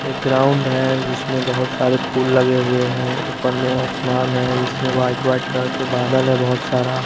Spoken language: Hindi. एक ग्राउंड है जिसमें बहोत सारे फूल लगे हुए हैं ऊपर में आसमान है जिसमें व्हाइट व्हाइट कलर के बादल है बहोत सारा--